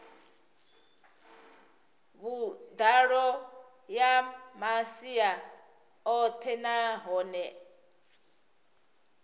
vhuḓalo ya masia oṱhe nahone